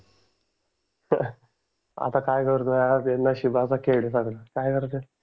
आता काय करतोय काय करतोय.